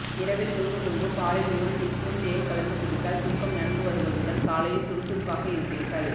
இரவில் தூங்கும் முன்பு பாலில் ஒரு டீஸ்பூன் தேன் கலந்து குடித்தால் தூக்கம் நன்கு வருவதுடன் காலையில் சுறுசுறுப்பாக இருப்பீர்கள்